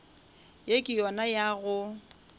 ye ke yona ya go